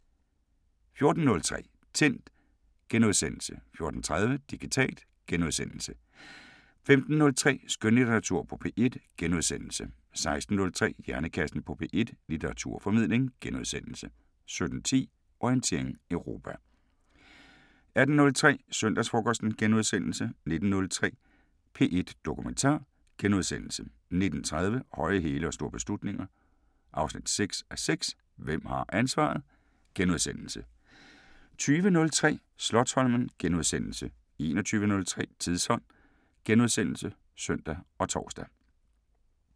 14:03: Tændt * 14:30: Digitalt * 15:03: Skønlitteratur på P1 * 16:03: Hjernekassen på P1: Litteraturformidling * 17:10: Orientering Europa 18:03: Søndagsfrokosten * 19:03: P1 Dokumentar * 19:30: Høje hæle og store beslutninger 6:6 – Hvem har ansvaret? * 20:03: Slotsholmen * 21:03: Tidsånd *(søn og tor)